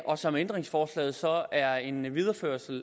og som ændringsforslaget så er en videreførelse af